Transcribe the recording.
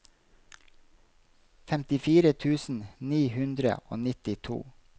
femtifire tusen ni hundre og nittito